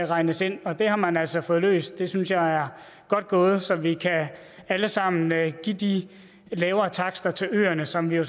regnes ind og det har man altså fået løst det synes jeg er godt gået så vi alle sammen kan give de lavere takster til øerne som vi jo